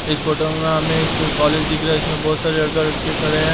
इस फोटो में हमें एक कॉलेज दिख रहा है इसमें बहुत सारे लड़का-लड़के खड़े हैं।